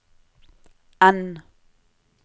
N